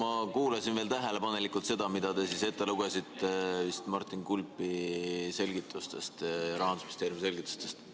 Ma kuulasin tähelepanelikult seda, mida te lugesite ette Martin Kulbi selgitustest, Rahandusministeeriumi selgitustest.